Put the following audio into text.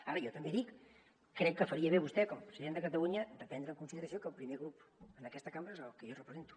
ara jo també l’hi dic crec que faria bé vostè com a president de catalunya de prendre en consideració que el primer grup en aquesta cambra és el que jo represento